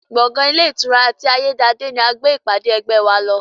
Gbọ̀ngàn ilé ìtura ti ayédáadé ni a gbé ìpàdé ẹgbẹ́ wa lọ